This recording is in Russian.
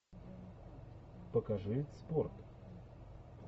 покажи спорт